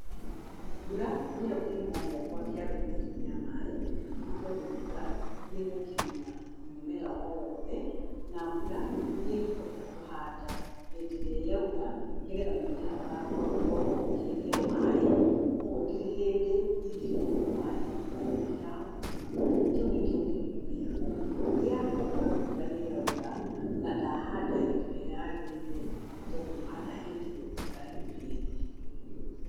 Mbura nĩyo kĩhumo gĩakwa gĩa gũitĩrĩria maaĩ nĩ tondũ mbura nĩ ĩgũkinyira mũmera o wothe. Na mbura nĩ ngũhota kũhanda hĩndĩ ĩrĩa yaura, nĩgetha mũmera wakwa ũkorwo ũkĩgĩa maaĩ, kwoguo ndirĩ hĩndĩ ingĩkorwo maaĩ mau ndirahota kũma- kĩu nĩkĩo kĩhumo gĩakwa gĩa gũkorwo mbura nĩ ĩraura, na ndahanda hĩndĩ ĩrĩa yagĩrĩire, nĩ tondũ ngũhanda hĩndĩ ĩyo mbura yurĩte.